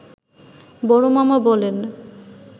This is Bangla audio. বড়মামা বলেন